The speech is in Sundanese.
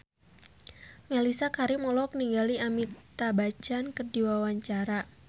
Mellisa Karim olohok ningali Amitabh Bachchan keur diwawancara